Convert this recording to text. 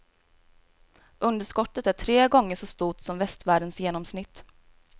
Underskottet är tre gånger så stort som västvärldens genomsnitt.